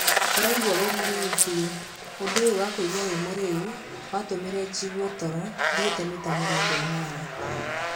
Ũraigua wĩ mũrĩu biũ, ũndũ ũyũ wa kũigua wĩ mũrĩu watũmire jĩgue toro thĩite mita mĩrongo ĩnana.